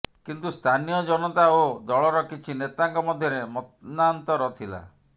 କିନ୍ତୁ ସ୍ଥାନୀୟ ଜନତା ଓ ଦଳର କିଛି ନେତାଙ୍କ ମଧ୍ୟରେ ମନାନ୍ତର ଥିଲା